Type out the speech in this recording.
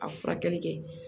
A furakɛli kɛ